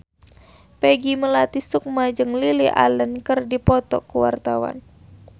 Peggy Melati Sukma jeung Lily Allen keur dipoto ku wartawan